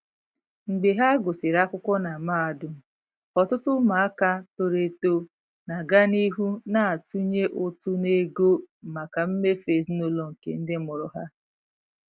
Mgbe ha gụsịrị akwụkwọ na mahadum, ọtụtụ ụmụaka toro eto na-aga n'ihu na-atụnye ụtụ n'ego maka mmefu ezinụlọ nke ndị mụrụ ha.